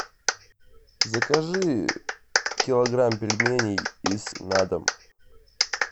закажи килограмм пельменей из на дом